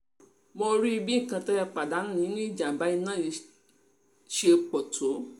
mo rí i bí nǹkan tẹ́ tẹ́ ẹ pàdánù nínú ìjàm̀bá iná yìí ṣe pọ̀ tó